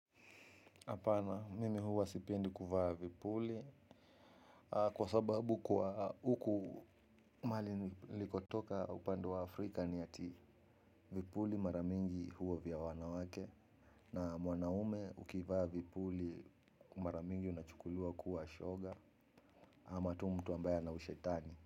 Hapana mimi huwa sipendi kuvaa vipuli. Kwa sababu kwa huku mahali nilikotoka upande wa Afrika ni ati vipuli mara mingi huwa vya wanawake. Na mwanaume ukivaa vipuli mara mingi unachukuliwa kuwa shoga. Ama tu mtu ambaye ana ushetani.